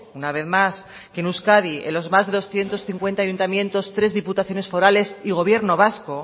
una vez más que en euskadi en los más de doscientos cincuenta ayuntamientos tres diputaciones forales y gobierno vasco